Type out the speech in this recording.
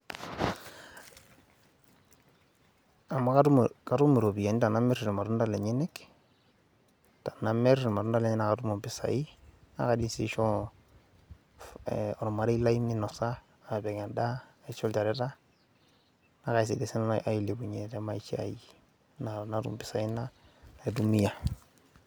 Amu katum iropiyiani tenamir irmatuda lenyenyek, tenamir irmatunda lenyenyek naa katum impisai. naa kaidim sii aishoo olmarei lai minosa aa pik endaa, ashu ilchoreta naa kaidim sii nanu ailepunye te maisha aii natum impisai naitumia.